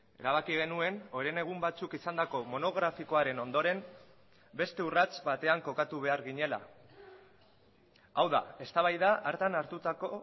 erabaki genuen orain egun batzuk izandako monografikoaren ondoren beste urrats batean kokatu behar ginela hau da eztabaida hartan hartutako